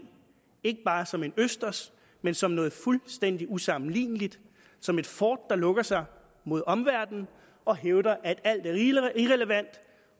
ikke bare som en østers men som noget fuldstændig usammenligneligt som et fort der lukker sig mod omverdenen og hævder at alt er irrelevant